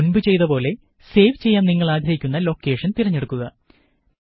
മുന്പ് ചെയ്തപ്പോലെ സേവ് ചെയ്യാന് നിങ്ങള് ആഗ്രഹിക്കുന്ന ലൊക്കേഷന് തിരഞ്ഞെടുക്കുക